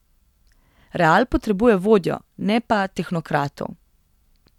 Real potrebuje vodjo, ne pa tehnokratov.